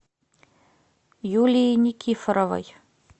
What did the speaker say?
юлии никифоровой